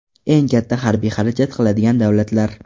Eng katta harbiy xarajat qiladigan davlatlar.